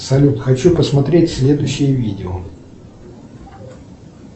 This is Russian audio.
салют хочу посмотреть следующее видео